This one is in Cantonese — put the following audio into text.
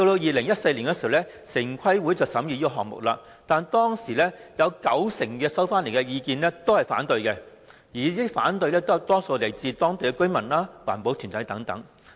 2014年，城規會審議這個項目時，在所接獲的意見中，九成是反對意見，而這些反對聲音多數來自當區居民和環保團體等。